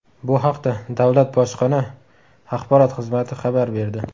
Bu haqda Davlat bojxona axborot xizmati xabar berdi .